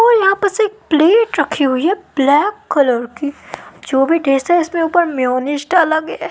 वो यहाँ बस एक प्लेट रखी हुई हैं ब्लैक कलर की जो भी टेस्ट हैं इसके ऊपर मेयोनीज डाला गया हैं।